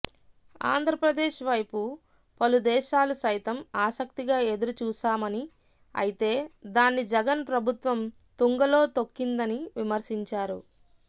ఆంధ్రప్రదేశ్ వైపు పలు దేశాలు సైతం ఆసక్తిగా ఎదురుచూశామని అయితే దాన్ని జగన్ ప్రభుత్వం తుంగలో తొక్కిందని విమర్శించారు